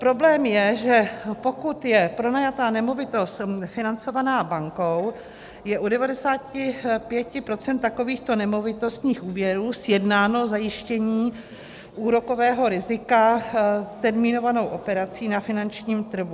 Problém je, že pokud je pronajatá nemovitost financovaná bankou, je u 95 % takovýchto nemovitostních úvěrů sjednáno zajištění úrokového rizika termínovanou operací na finančním trhu.